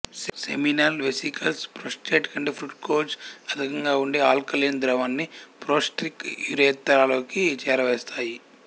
seminal vesicles prostate కంటే fructose అధికంగా ఉండే ఆల్కలీన్ ద్రవాన్ని ప్రోస్టాటిక్ యురేత్రాలోకి చేరవేస్తాయి